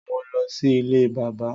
mọ ló sì ilé bàbá.